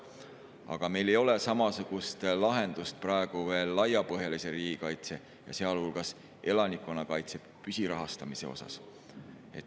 Aga meil ei ole samasugust lahendust praegu veel laiapõhjalise riigikaitse, sealhulgas elanikkonnakaitse püsirahastamise osas.